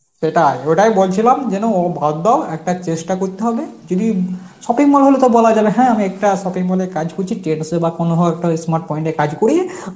সেটাই, ওটাই বলছিলাম যেন ভদ্র একটা চেষ্টা করতে হবে যদি shopping mall হলে তাও বলা যাবে হ্যাঁ একটা shopping mall এ কাজ করছি, trends এ বা কোন হয় একটা smart point এ কাজ করি